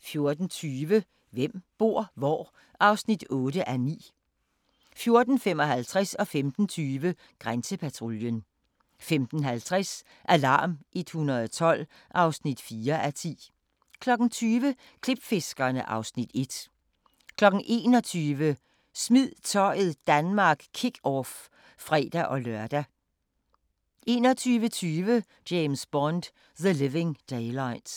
14:20: Hvem bor hvor? (8:9) 14:55: Grænsepatruljen 15:20: Grænsepatruljen 15:50: Alarm 112 (4:10) 20:00: Klipfiskerne (Afs. 1) 21:00: Smid Tøjet Danmark Kick off (fre-lør) 21:20: James Bond: The Living Daylights